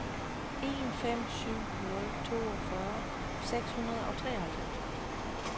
en fem syv nul toogfyrre seks hundrede og treoghalvfems